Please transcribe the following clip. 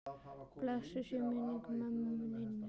Blessuð sé minning ömmu Ninnu.